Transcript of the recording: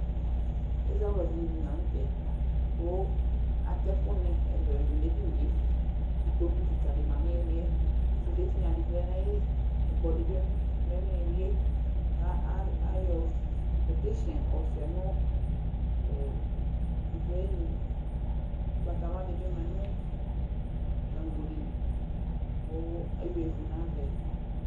Ɛzawladɩnɩ dɩ lanʊtɛ, kʊ atɛkʊ nɩ ɛlʊɛlʊ nedɩnɩe Ɩkpokʊ kɩka dɩ ma nʊ ɩlɩ ƴɛ kʊ sʊde tɩɣna dɩ lɛ naƴɩlɩ, ɛkplɔ dɩbɩ lɛ nɩɩlɩ yɛ kayɔ teshen yɔ sʊa nʊ hɔtrʊ ayɩnʊ, ʊgbatawla dɩbɩ ma nʊ gago dɩlɩ kʊ eyea ɩvʊ dɩ nava yɛ